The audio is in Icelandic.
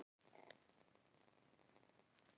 Ef það er ekki að hafa áhrif, hvað gerir það þá?